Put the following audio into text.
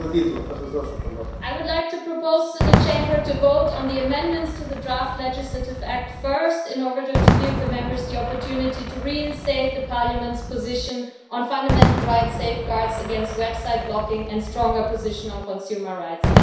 Mr President, I would like to propose that the Chamber votes on the amendments to the draft legislative act first, in order to give the Members the opportunity to reinstate Parliament's position on fundamental rights, safeguards against website blocking and a stronger position on consumer rights.